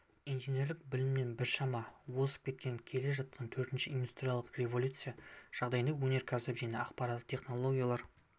инженерлік білімнен біршама озып кеткен келе жатқан төртінші индустриялық революция жағдайында өнеркәсіп пен ақпараттық технологияларды